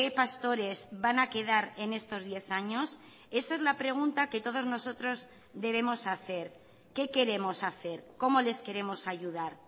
pastores van a quedar en estos diez años esa es la pregunta que todos nosotros debemos hacer qué queremos hacer cómo les queremos ayudar